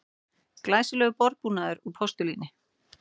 Glæsilegur borðbúnaður úr postulíni